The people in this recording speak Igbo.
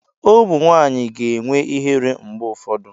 Ụmụ nwanyị ga-enwe ihere mgbe ụfọdụ.